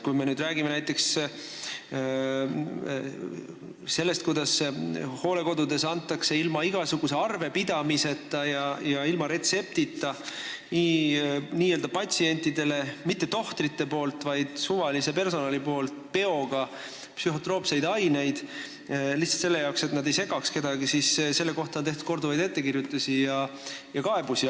Kui me räägime näiteks sellest, kuidas hooldekodudes antakse ilma igasuguse arvepidamiseta ja retseptita patsientidele peoga psühhotroopseid aineid – ja neid ei määra mitte tohter, vaid suvaline personal – lihtsalt selleks, et nad kedagi ei segaks, siis selle kohta on tehtud korduvaid ettekirjutusi ja kaebusi.